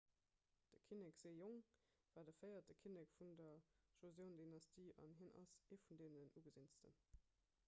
de kinnek sejong war de véierte kinnek vun der joseon-dynastie an hien ass ee vun den ugesinnsten